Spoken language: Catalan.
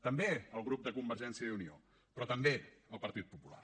també el grup de convergència i unió però també el partit popular